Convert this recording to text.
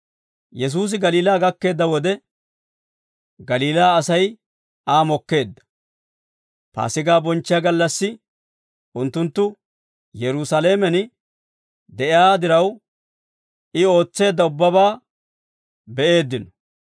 Yesuusi Galiilaa gakkeedda wode, Galiilaa Asay Aa mokkeedda; Paasigaa bonchchiyaa gallassi unttunttu Yerusaalamen de'iyaa diraw, I ootseedda ubbabaa be'eeddino.